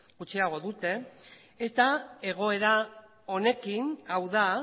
gutxiago dute eta egoera honekin hau da